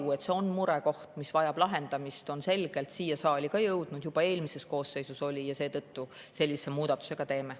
Nii et see murekoht, mis vajab lahendamist, on selgelt siia saali ka jõudnud, juba eelmises koosseisus oli, ja seetõttu me sellise muudatuse teeme.